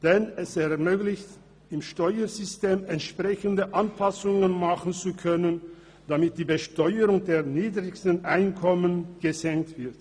Dadurch wird ermöglicht, im Steuersystem entsprechende Anpassungen vorzunehmen, damit die Besteuerung der niedrigsten Einkommen gesenkt wird.